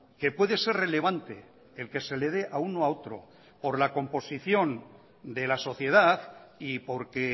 que puede ser relevante el que se le de a uno o a otro por la composición de la sociedad y porque